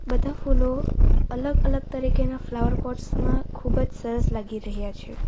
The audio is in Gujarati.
બધા ફૂલો અલગ અલગ તરીકેના ફ્લાવર પોટ્સ માં ખૂબ જ સરસ લાગી રહ્યા છે.